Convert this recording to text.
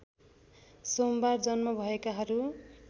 सोमबार जन्म भएकाहरू